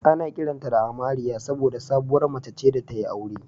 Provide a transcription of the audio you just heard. Ana kiranta da "Amariya" saboda sabuwar mace ce da ta yi aure